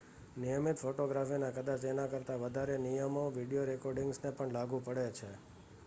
નિયમિત ફોટોગ્રાફીના કદાચ તેના કરતાં વધારે નિયમો વિડિયો રેકૉર્ડિંગને પણ લાગુ પડે છે